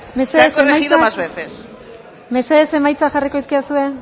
más veces perfecto mesedez emaitzak mesedez emaitza jarriko dizkidazue